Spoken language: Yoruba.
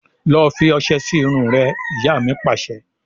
Lọ fi ọsẹ sì irun rẹ! Ìyá mi Pàṣẹ.